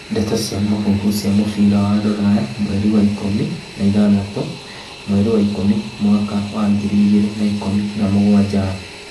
Ndeto cia mũhuhu cia mũbira Rũraya mweri ikũmi na ithathatũ mweri wa ikumi mwaka wa ngiri igĩrĩ ikumi na mũgwanja